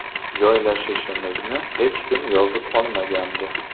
Joylashishimizni hech kim yozib olmagandi.